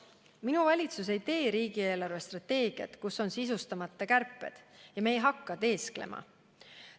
Minu valitsus ei tee riigi eelarvestrateegiat, milles on sisustamata kärpeid, ja me ei hakka teesklema.